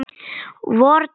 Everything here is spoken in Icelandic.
vordag langan.